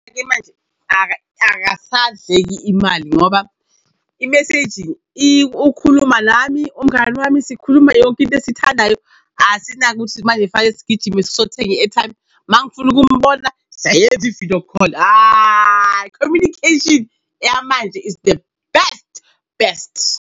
Ake manje akasadleki imali ngoba i-messaging ukhuluma nami, umngani wami. Sikhuluma yonke into esithandayo asinaki ukuthi manje fanele sigijime sothenga i-airtime. Uma ngifuna ukumbona sayenza i-video call. Hayi, communication yamanje is the best, best.